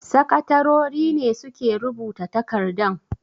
Sakatarori ne suke rubuta takardan.